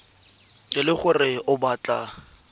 e le gore o batla